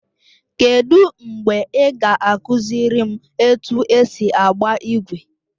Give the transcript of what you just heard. Kedụ mgbe ị ga-akụziri m otu esi agba igwe?